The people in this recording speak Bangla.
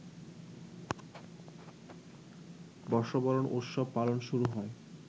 বর্ষবরণ উৎসব পালন শুরু হয়